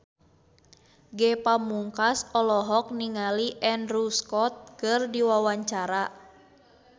Ge Pamungkas olohok ningali Andrew Scott keur diwawancara